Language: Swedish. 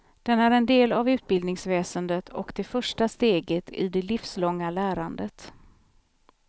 Den är en del av utbildningsväsendet och det första steget i det livslånga lärandet.